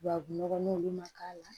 Tubabu nɔgɔ olu ma k'a la